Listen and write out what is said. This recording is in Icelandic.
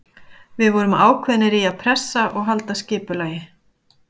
Við vorum ákveðnir í að pressa og halda skipulagi.